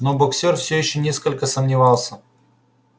но боксёр всё ещё несколько сомневался